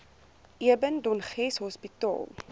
eben dönges hospitaal